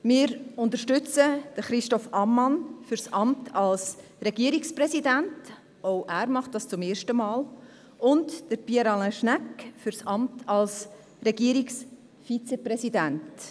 Wir unterstützen Christoph Ammann für das Amt des Regierungspräsidenten – auch er macht es zum ersten Mal – und Pierre Alain Schnegg für das Amt des Regierungsvizepräsidenten.